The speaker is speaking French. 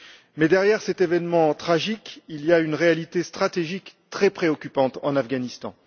Mais derrière cet événement tragique, il y a une réalité stratégique très préoccupante en Afghanistan.